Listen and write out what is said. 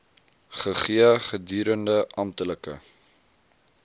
gegee gedurende amptelike